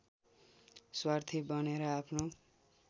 स्वार्थी बनेर आफ्नो